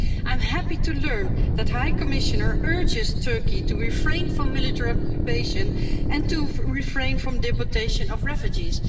I'm happy to learn that the High Commissioner is urging Turkey to refrain from military occupation and to refrain from the deportation of refugees.